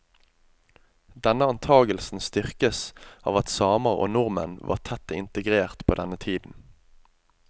Denne antagelsen styrkes av at samer og nordmenn var tett integrert på denne tiden.